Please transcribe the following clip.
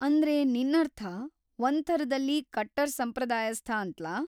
ಅಂದ್ರೆ ನಿನ್ನರ್ಥ ಒಂದ್‌ ಥರದಲ್ಲಿ ಕಟ್ಟರ್‌ ಸಂಪ್ರದಾಯಸ್ಥ ಅಂತ್ಲಾ?